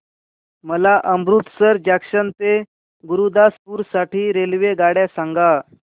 मला अमृतसर जंक्शन ते गुरुदासपुर साठी रेल्वेगाड्या सांगा